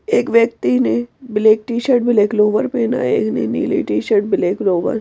एक व्यक्ति ने ब्लैक टी-शर्ट ब्लैक लोवर पहना है एक ने नीली टी-शर्ट ब्लैक लोवर ।